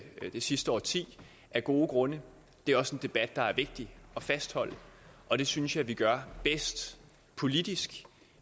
sidste årti af gode grunde det er også en debat der er vigtig at fastholde og det synes jeg at vi gør bedst politisk